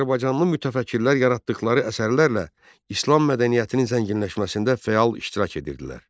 Azərbaycanlı mütəfəkkirlər yaratdıqları əsərlərlə İslam mədəniyyətinin zənginləşməsində fəal iştirak edirdilər.